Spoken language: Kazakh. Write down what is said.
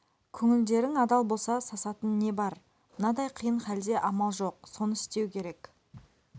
көңілдерін адал болса сасатын не бар мынадай қиын халде амал жоқ соны істеу керек